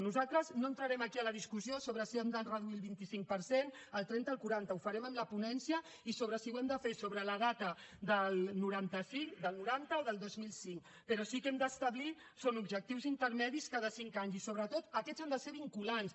nosaltres no entrarem aquí a la discussió sobre si hem de reduir el vint cinc per cent el trenta o el quaranta ho farem en la ponència i sobre si ho hem de fer sobre la data del noranta cinc del noranta o del dos mil cinc però sí que hem d’establir objectius intermedis cada cinc anys i sobretot aquests han de ser vinculants